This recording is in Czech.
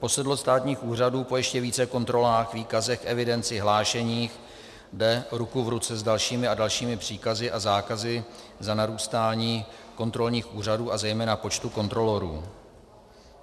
Posedlost státních úřadů po ještě více kontrolách, výkazech, evidenci, hlášeních jde ruku v ruce s dalšími a dalšími příkazy a zákazy za narůstáním kontrolních úřadů a zejména počtu kontrolorů.